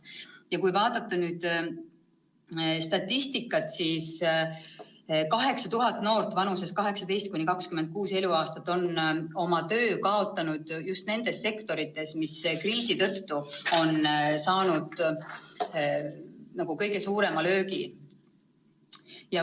Ja kui vaadata statistikat, siis 8000 noort vanuses 18–26 eluaastat on oma töö kaotanud just nendes sektorites, mis kriisi tõttu on saanud kõige suurema löögi.